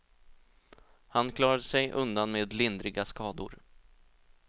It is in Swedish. Han klarade sig undan med lindriga skador.